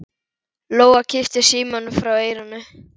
Lóa kippti símanum frá eyranu.